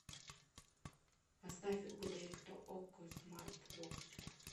поставь угадай кто окко смарт бокс